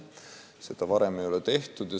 Seda varem ei ole tehtud.